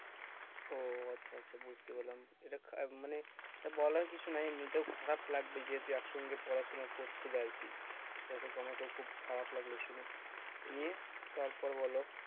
ও আচ্ছা আচ্ছা বুঝতে পারলাম এটা খা মানে এটা বলার কিছু নেই এমনিতেও খারাপ লাগবেই যদি একসঙ্গে পড়াশোনা করছিলে আর কি দেখো আমাকেও খুব খারাপ লাগলো শুনে নিয়ে তারপর বলো